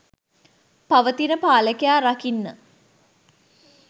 පවතින පාලකයා රකින්න.